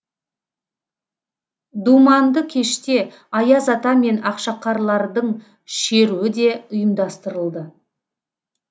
думанды кеште аяз ата мен ақшақарлардың шеруі де ұйымдастырылды